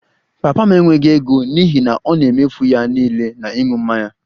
Papa m enweghị ego n'ihi na ọ na-emefu ya niile na ịṅụ mmanya